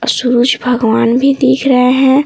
सूरज भगवान भी दिख रहे हैं।